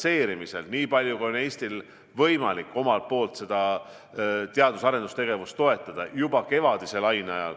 Me oleme omalt poolt nii palju, kui on Eestil võimalik olnud, teadus- ja arendustegevust toetanud, juba kevadise laine ajal.